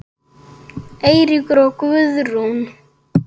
Eiríkur og Guðrún.